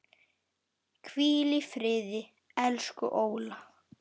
Hvíl í friði, elsku Óla.